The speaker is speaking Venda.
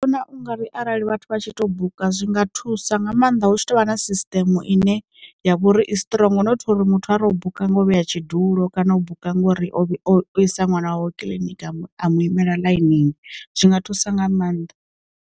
Na ungari arali vhathu vha tshi to buka zwi nga thusa nga maanḓa hu tshi tovha na sisteme ine ya vhori i strong nothi uri muthu a re u buka nga u vheya tshidulo kana u bika ngori o isa ṅwana wawe kiliniki a mu imela ḽainini, zwi nga thusa nga maanḓa.